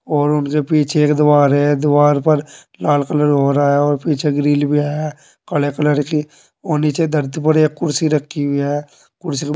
और उन से पीछे एक दीवार है दीवार पर लाल कलर हो रहा है और पीछे ग्रिल भी है काले कलर की और नीचे दर्द भरे कुर्सी रखी हुई है कुर्सी का--